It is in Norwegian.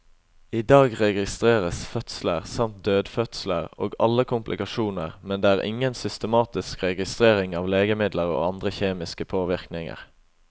I dag registreres fødsler, samt dødfødsler, og alle komplikasjoner, men det er ingen systematisk registrering av legemidler og andre kjemiske påvirkninger.